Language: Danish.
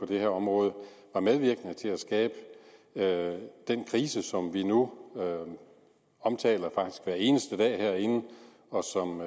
det her område var medvirkende til at skabe den krise som vi nu omtaler hver eneste dag herinde og som